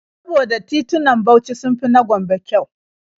Saboda titunan Bauchi sun fi na Gombe kyau.